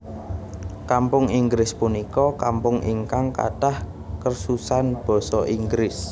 Kampung Inggris punika kampung ingkang kathah kursusan basa Inggris